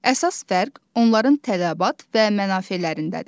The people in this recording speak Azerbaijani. Əsas fərq onların tələbat və mənafelərindədir.